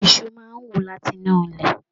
Iṣu máa n wú láti inú ilẹ.